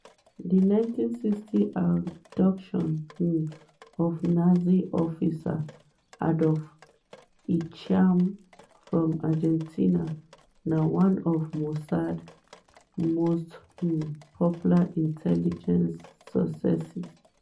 di 1960 abduction um of nazi officer adolf eichmann from argentina na one of mossad most um popular intelligence successes.